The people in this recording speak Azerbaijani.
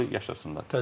Böyük yaşasınlar.